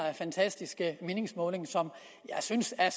fantastiske meningsmåling som jeg synes er